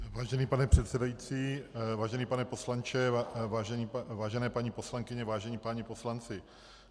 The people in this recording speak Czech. Vážený pane předsedající, vážený pane poslanče, vážené paní poslankyně, vážení páni poslanci.